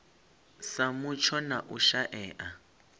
sa mutsho na u shaea